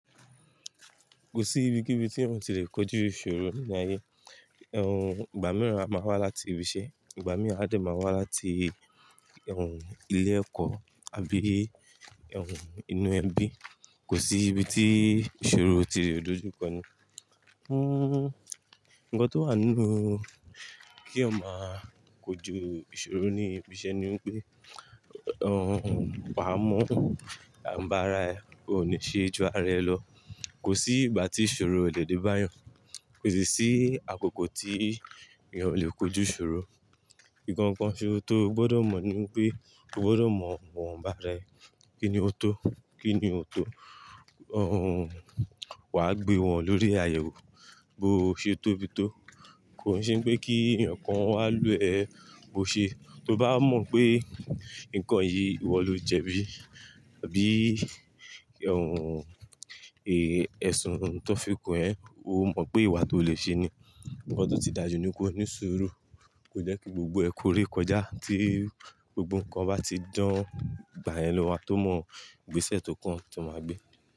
Kò sí ibi, kíbi tí èèyàn ò tí ì lè kojú ìṣòro nínú ayé. Ìgbà mìíràn a máa wá láti ibi iṣẹ́, ìgbà mìíràn a lè máa wá láti ilé ẹ̀kọ́ àbí inú ẹbí. Kò sí ibi tí ìṣòro ti le dòjù kan ni. Hmm, ǹkan tó wà nínú kí eeyan má kojú ìṣòro ní ibi iṣẹ́ ni wípé, wà á mọ àwọn ọba ara ẹ, o ní ṣe ju ara ẹ lọ. Kò sí ìgbà tí ìṣòro ò lè dé bá yán Kò sì sí àkókò tí èèyàn ò lè kojú ìṣòro. Ìkankan ṣe ó tó gbọ́dọ̀ mọ̀ ni wípé, o gbọ́dọ̀ mọ íwọn ba ara ẹ. Kí ni ó tó? Kí ni ó tó? Wà á gbé wọn lórí àyẹ̀wò, bó ṣe tó bí tó. Kòn sé pé kí ẹ̀yàn kan wá lù ẹ́ bó ṣe. Tó bá mọ̀ pé nǹkan yìí ìwọ ló jẹbí, àbí èè, ẹ̀sùn tó fi kón ẹ́, o mọ̀ pé ìwà tó lè ṣe ni. Nkân tí ó ti dájú ní kó ní ísúrú, kò jẹ́ kí gbogbo ẹ kó ré kọjá. Tí gbogbo nǹkan bá ti dán, ìgbà yén ló mà tó mọ ìgbésẹ̀ tó kàn tó máa gbé.